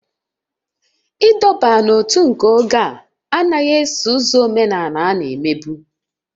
Ịdọba n'ótú nke oge a anaghị eso ụzọ omenala na-emebu